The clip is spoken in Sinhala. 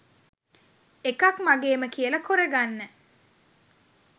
එකක් මගේම කියල කොරගන්න